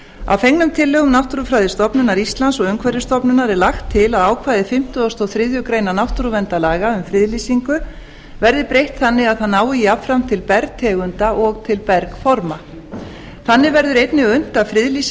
að fengnum tillögum náttúrufræðistofnunar íslands og umhverfisstofnunar er lagt til að ákvæði fimmtugasta og þriðju grein náttúruverndarlaga um friðlýsingu verði breytt þannig að það nái jafnframt til bergtegunda og bergforma þannig verður einnig unnt að friðlýsa